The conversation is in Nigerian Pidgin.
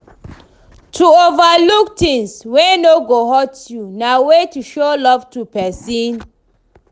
To overlook things wey no go hurt you na way to show love to persin